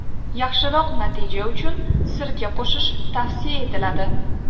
Yaxshiroq natija uchun sirka qo‘shish tavsiya etiladi.